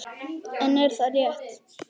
En er það rétt?